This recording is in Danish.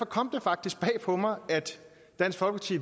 kom det faktisk bag på mig at dansk folkeparti